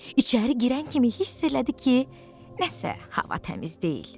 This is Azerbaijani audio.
İçəri girən kimi hiss elədi ki, nəsə hava təmiz deyil.